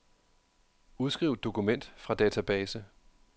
Udskriv dokument fra database.